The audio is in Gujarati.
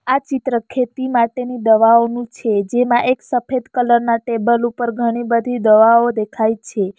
આ ચિત્ર ખેતી માટેની દવાઓનું છે જેમાં એક સફેદ કલર ના ટેબલ ઉપર ઘણી બધી દવાઓ દેખાય છે.